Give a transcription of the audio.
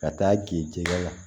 Ka taa k'i jɛgɛ la